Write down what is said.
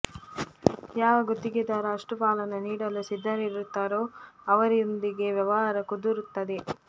ಯಾವ ಗುತ್ತಿಗೆದಾರ ಅಷ್ಟು ಪಾಲನ್ನು ನೀಡಲು ಸಿದ್ಧರಿರುತ್ತಾರೋ ಅವರೊಂದಿಗೆ ವ್ಯವಹಾರ ಕುದುರುತ್ತದೆ